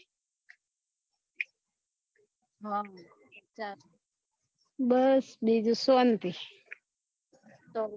હમ તાર બસ બીજું શાંતિ અર